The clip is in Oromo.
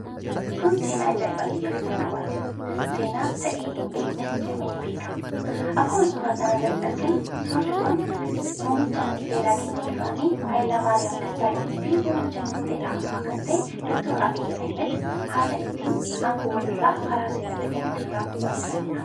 Kun seenaa ajaa'ibaati! Yeroo jalqabaatif seenaa ta'ee hinbeeknes jedhamee niibeekama. Akkuma suuraa irratti arginu suurri kun muummichi ministeeraa keenya duraanii Haayilemaariyaam Dassaalenyiifi muummichi ministeeraa ammaa kan ta'e Dooktor Abiy Ahimed haala ittin aangoo waliirraa karaa seera ta'een walirraa fuudhaa jiranidha.